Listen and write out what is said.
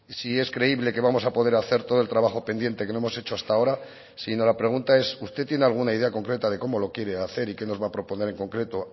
si es creíble que vamos a poder hacer todo el trabajo pendiente que no hemos hecho hasta ahora si no la pregunta es usted tiene alguna idea concreta de cómo lo quiere hacer y qué nos va a proponer en concreto